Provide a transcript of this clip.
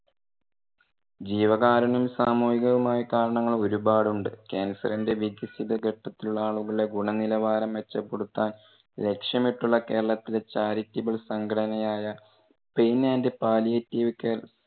ജീവകാരുണ്യം സാമൂഹികവുമായ കാരണങ്ങൾ ഒരുപാട് ഉണ്ട്. ക്യാൻസറിന്റെ വികസിത ഘട്ടത്തിലുള്ള ഗുണ നിലവാരം മെച്ചപ്പെടുത്താൻ ലക്ഷ്യമിട്ടുള്ള കേരളത്തിലെ charitable സംഘടന ആയ pain and palliative care